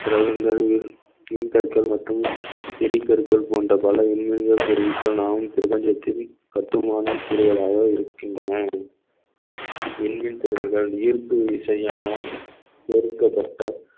கிரகங்கள் மின்கட்ட மற்றும் எரிப்பொருட்கள் போன்ற பல மின்னியல் பொருட்கள் நாமும் பிரபஞ்சத்தில் கட்டுமான கூறுகளாக இருக்கின்றன விண்மீன் திறல்கள் ஈர்ப்பு விசையால் வெறுக்கப்பட்ட